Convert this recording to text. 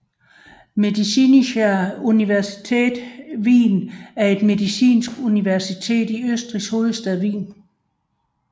Medizinische Universität Wien er et medicinsk universitet i Østrigs hovedstad Wien